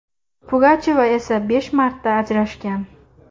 Pugachyova esa besh marta ajrashgan.